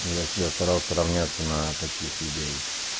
я всегда старался равняться на таких людей